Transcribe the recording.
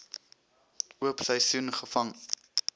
oop seisoen gevang